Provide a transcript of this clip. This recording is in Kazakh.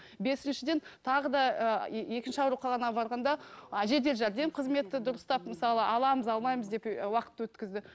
бесіншіден тағы да ы екінші ауруханаға барғанда ы жедел жәрдем қызметі дұрыстап мысалы аламыз алмаймыз деп ы уақыт өткізді